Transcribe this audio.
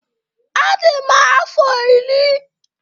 Adị m afọ iri.